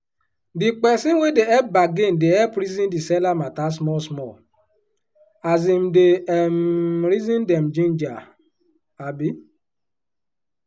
the peson wey dey hep bargain dey reason di seller mata small small as im dey um reason dem jinja. um